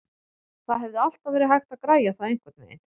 Það hefði alltaf verið hægt að græja það einhvernveginn.